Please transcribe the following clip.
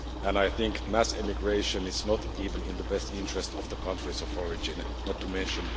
I think mass immigration is not even in the best interest of the countries of origin, not to mention